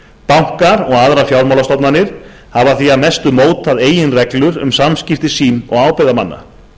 bankar og aðrar fjármálastofnanir hafa því að mestu mótað eigin reglur um samskipti sín og ábyrgðarmanna